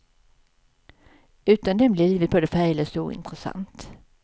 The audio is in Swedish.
Utan den blir livet både färglöst och ointressant.